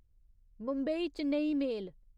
Mumbai Chennai मेल